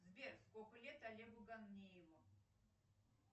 сбер сколько лет олегу гамниеву